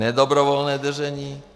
Nedobrovolné držení?